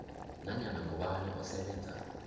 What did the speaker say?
nanyana ngubani osebenza